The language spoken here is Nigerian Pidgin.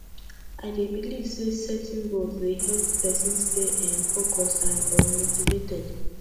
i dey believe say setting goals dey help pesin stay um focused and um motivated